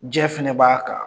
Jɛ fɛnɛ b'a kan.